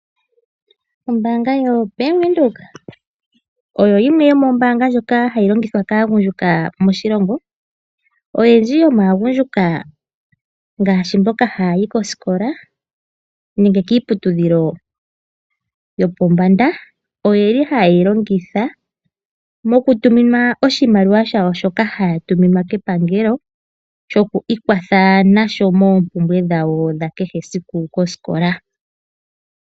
Ombaanga yo Bank Windhoek oyo yimwe yomoombaanga ndjoka hayi longithwa kaagundjuka moshilongo. Oyendji yomaagundjuka ngaashi mboka ha yayi kosikola, nenge kiiputudhilo yopondanda, oye li haye yi longitha moku tuminwa oshimaliwa shawo shoka haya tuminwa kepangelo, shoku ikwatha nasho moompumbwe dhawo dha kehe esiku kosikola.